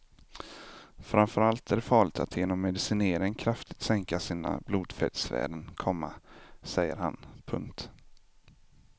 Framför allt är det farligt att genom medicinering kraftigt sänka sina blodfettsvärden, komma säger han. punkt